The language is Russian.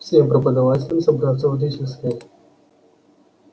всем преподавателям собраться в учительской